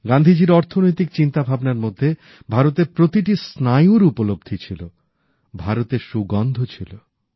গান্ধীজীর অর্থনৈতিক চিন্তা ভাবনার মধ্যে ভারতের প্রতিটি স্নায়ুর উপলব্ধি ছিল ভারতের সুগন্ধ ছিল